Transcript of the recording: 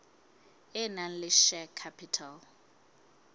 e nang le share capital